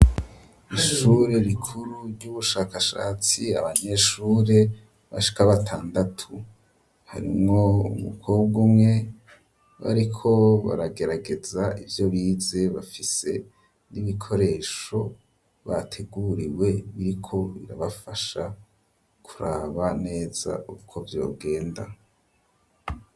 Ishure rikuru vy'ubushakashatsi abanyeshure bashike batandatu harimwo umukobwa umwe bariko baragerageza ivyo bize bafise n'ibikoresho bateguriwe biriko birabafasha kuraba neza uko vyogenda.